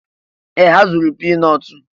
Ee! Ha zụrụ pii nọọtụ